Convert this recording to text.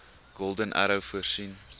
golden arrow voorsien